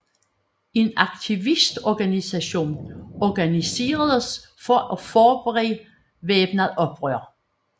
En aktivistorganisation organiseredes for at forberede væbnet oprør